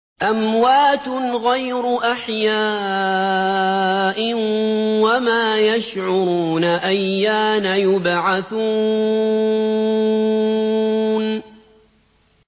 أَمْوَاتٌ غَيْرُ أَحْيَاءٍ ۖ وَمَا يَشْعُرُونَ أَيَّانَ يُبْعَثُونَ